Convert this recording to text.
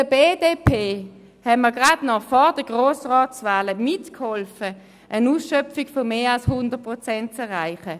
Der BDP haben wir vor den Grossratswahlen gerade noch geholfen, eine Ausschöpfung von mehr als 100 Prozent zu erreichen.